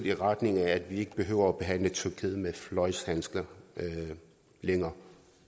i retning af at vi ikke behøver at behandle tyrkiet med fløjlshandsker længere